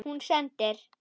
Hún sendir